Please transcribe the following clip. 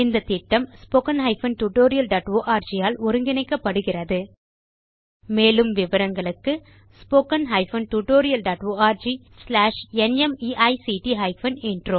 இந்த திட்டம் httpspoken tutorialorg ஆல் ஒருங்கிணைக்கப்படுகிறது மேலும் விவரங்களுக்கு httpspoken tutorialorgNMEICT Intro